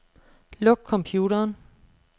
Luk computeren.